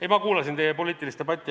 Ei, ma kuulasin teie poliitilist debatti.